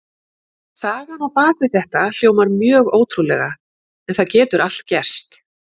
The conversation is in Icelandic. Sagan á bak við þetta hljómar mjög ótrúlega en það getur allt gerst.